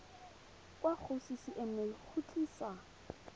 kwa go ccma go tlisa